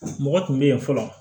Mɔgɔ tun bɛ yen fɔlɔ